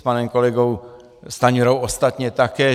S panem kolegou Stanjurou ostatně také.